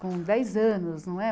Com dez anos, não é?